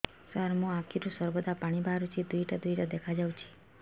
ସାର ମୋ ଆଖିରୁ ସର୍ବଦା ପାଣି ବାହାରୁଛି ଦୁଇଟା ଦୁଇଟା ଦେଖାଯାଉଛି